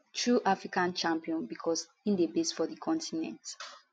true african champion becos im dey based for di continent